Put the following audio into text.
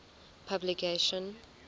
publication